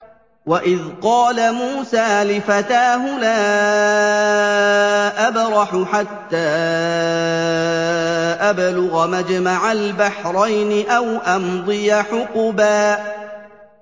وَإِذْ قَالَ مُوسَىٰ لِفَتَاهُ لَا أَبْرَحُ حَتَّىٰ أَبْلُغَ مَجْمَعَ الْبَحْرَيْنِ أَوْ أَمْضِيَ حُقُبًا